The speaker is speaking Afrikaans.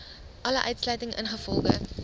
alle uitsluiting ingevolge